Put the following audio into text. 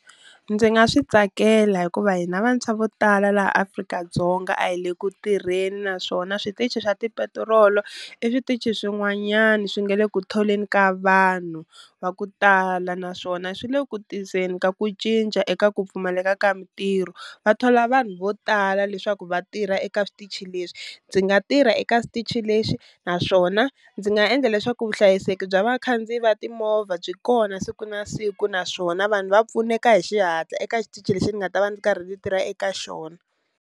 Ndzi nga swi tsakela hikuva hina vantshwa vo tala laha Afrika-Dzonga a hi le ku tirheni naswona switichi swa tipetirolo i switichi swin'wanyana swi nga le ku tholeni ka vanhu va ku tala, naswona swi le ku tiseni ka ku cinca eka ku pfumaleka ka mintirho, va thola vanhu vo tala leswaku va tirha eka switichi leswi. Ndzi nga tirha eka xitichi lexi naswona ndzi nga endla leswaku vuhlayiseki bya vakhandziyi va timovha byi kona siku na siku naswona vanhu va pfuneka hi xihatla eka xitichi lexi ni nga ta va ni karhi ni tirha eka xona.